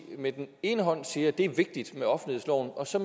med den ene hånd siger at det er vigtigt med offentlighedsloven og så